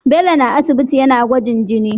Bello na aisibiti yAna gwajin jini